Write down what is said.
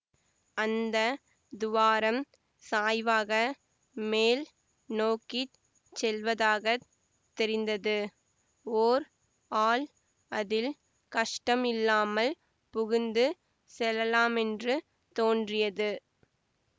அந்த துவாரம் சாய்வாக மேல் நோக்கி செல்வதாகத் தெரிந்தது ஓர் ஆள் அதில் கஷ்டமில்லாமல் புகுந்து செல்லலாமென்று தோன்றியது